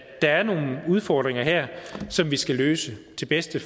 er nogle udfordringer her som vi skal løse til bedste